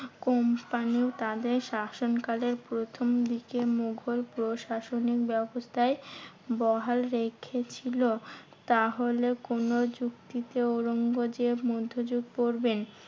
Company তাদের শাসনকালের প্রথম দিকে মুঘল প্রশাসনিক ব্যাবস্থায় বহাল রেখেছিল, তাহলে কোনো যুক্তিতে ঔরঙ্গজেব মধ্যযুগ পড়বেন?